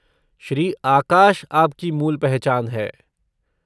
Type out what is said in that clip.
श्री आकाश आपकी मूल पहचान है।